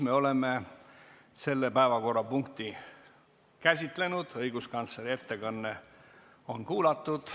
Me oleme selle päevakorrapunkti lõpuni käsitlenud, õiguskantsleri ettekanne on kuulatud.